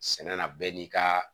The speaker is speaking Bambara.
Sɛnɛ na bɛɛ n'i ka